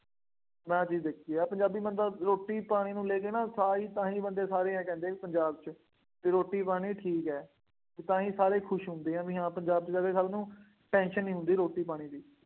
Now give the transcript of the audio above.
ਮੈਂ ਆਹ ਚੀਜ਼ ਦੇਖੀ ਹੈ, ਪੰਜਾਬੀ ਬੰਦਾ ਰੋਟੀ ਪਾਣੀ ਨੂੰ ਲੈ ਕੇ ਨਾ, ਸਾਰ ਹੀ ਤਾਂ ਹੀ ਬੰਦੇ ਸਾਰੇ ਆਏਂ ਕਹਿੰਦੇ ਆ ਬਈ ਪੰਜਾਬ ਵਿੱਚ ਰੋਟੀ ਪਾਣੀ ਠੀਕ ਹੈ। ਤਾਂ ਹੀ ਸਾਰੇ ਖੁਸ਼ ਹੁੰਦੇ ਹੈ, ਬਈ ਹਾਂ ਪੰਜਾਬ ਚ ਆ ਕੇ ਸਭ ਨੂੰ tension ਨਹੀਂ ਹੁੰਦੀ ਰੋਟੀ ਪਾਣੀ ਦੀ।